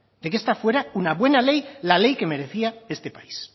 de que esta fuera una buena ley la ley que merecía este país